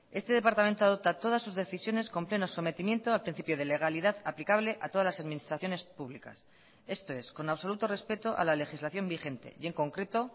este departamento adopta todas sus decisiones con pleno sometimiento al principio de legalidad aplicable a todas las administraciones públicas esto es con absoluto respeto a la legislación vigente y en concreto